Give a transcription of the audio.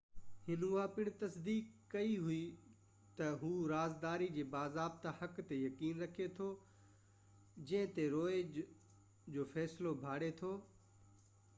هن اها پڻ تصديق ڪئي ته هُو رازداري جي باضابطه حق تي يقين رکي ٿو جنهن تي روئي جو فيصلو ڀاڙي ٿو